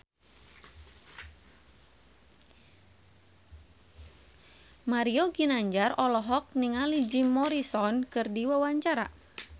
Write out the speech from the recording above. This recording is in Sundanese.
Mario Ginanjar olohok ningali Jim Morrison keur diwawancara